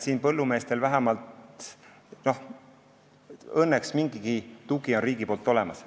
Põllumeestel on õnneks vähemalt mingi riigi tugi olemas.